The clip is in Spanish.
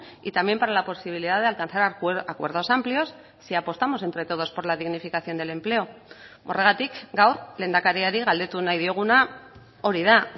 y también para la posibilidad de alcanzar acuerdos amplios si apostamos entre todos por la dignificación del empleo horregatik gaur lehendakariari galdetu nahi dioguna hori da